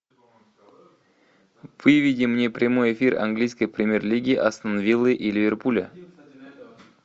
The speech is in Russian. выведи мне прямой эфир английской премьер лиги астон виллы и ливерпуля